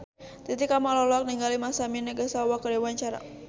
Titi Kamal olohok ningali Masami Nagasawa keur diwawancara